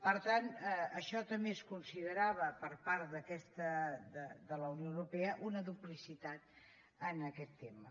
per tant això també es considerava per part de la unió europea una duplicitat en aquest tema